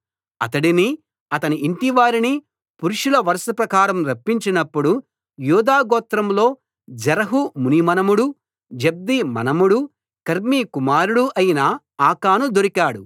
అతడినీ అతని ఇంటివారిని పురుషుల వరుస ప్రకారం రప్పించినప్పుడు యూదా గోత్రంలో జెరహు మునిమనుమడూ జబ్ది మనుమడూ కర్మీ కుమారుడూ అయిన ఆకాను దొరికాడు